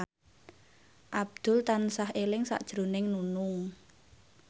Abdul tansah eling sakjroning Nunung